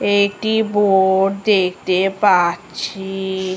একটি বোট দেখতে পাচ্ছি - এ - এ ।